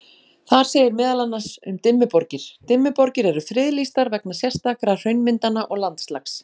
Þar segir meðal annars um Dimmuborgir: Dimmuborgir eru friðlýstar vegna sérstakra hraunmyndana og landslags.